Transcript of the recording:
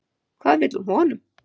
Hvað vill hún honum?